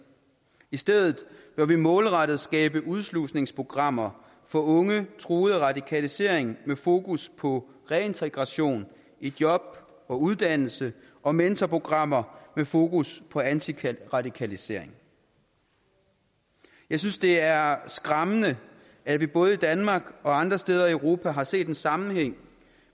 i stedet bør vi målrettet skabe udslusningsprogrammer for unge truet af radikalisering med fokus på reintegration i job og uddannelse og mentorprogrammer med fokus på antiradikalisering jeg synes det er skræmmende at vi både i danmark og andre steder i europa har set en sammenhæng